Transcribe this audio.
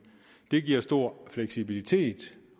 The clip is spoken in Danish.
det giver stor fleksibilitet